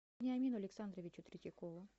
вениамину александровичу третьякову